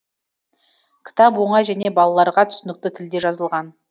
кітап оңай және балаларға түсінікті тілде жазылған